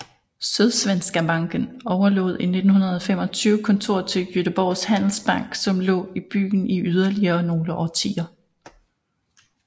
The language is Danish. Sydsvenska banken overlod i 1925 kontoret til Göteborgs handelsbank som så lå i byen i yderligere nogle årtier